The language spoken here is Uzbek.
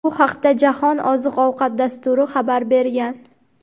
Bu haqda Jahon oziq-ovqat dasturi xabar bergan.